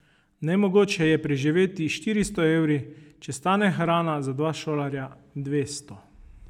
Nemogoče je preživeti s štiristo evri, če stane hrana za dva šolarja dvesto.